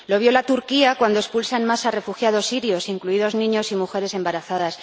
Lo viola Turquía, cuando expulsa en masa a refugiados sirios, incluidos niños y mujeres embarazadas.